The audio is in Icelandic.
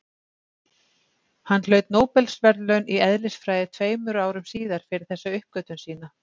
hann hlaut nóbelsverðlaun í eðlisfræði tveimur árum síðar fyrir þessa uppgötvun sína